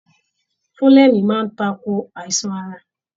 Fulẹmi máa n takò àìsàn ara.